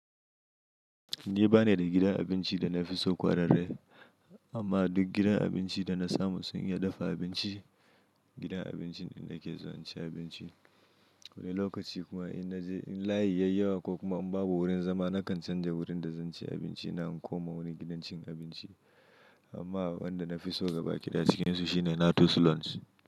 Ni ba ni da gidan abinci da na fi so kwararre, amma duk gidan abinci da na samu sun iya dafa abinci. Gidan abincin ne nake zuwa ci abinci. Wani lokaci kuma in na je in layi yayi yawa ko kuma in babu wurin zama, na kan canza wurin da zan ci abinci na in koma wani gidan cin abinci. Amma wanda na fi so gabaki ɗaya cikin su shine Natus Lounge.